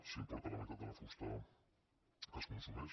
s’importa la meitat de la fusta que es consumeix